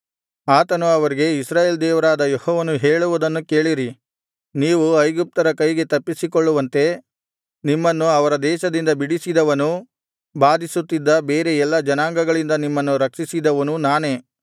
ಆತನು ಅವರಿಗೆ ಇಸ್ರಾಯೇಲ್‌ ದೇವರಾದ ಯೆಹೋವನು ಹೇಳುವುದನ್ನು ಕೇಳಿರಿ ನೀವು ಐಗುಪ್ತರ ಕೈಗೆ ತಪ್ಪಿಸಿಕೊಳ್ಳುವಂತೆ ನಿಮ್ಮನ್ನು ಅವರ ದೇಶದಿಂದ ಬಿಡಿಸಿದವನೂ ಬಾಧಿಸುತ್ತಿದ್ದ ಬೇರೆ ಎಲ್ಲಾ ಜನಾಂಗಗಳಿಂದ ನಿಮ್ಮನ್ನು ರಕ್ಷಿಸಿದವನೂ ನಾನೇ